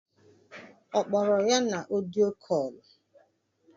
Okporo ya na Ọdio kọ̇lụ?